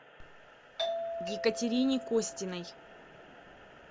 екатерине костиной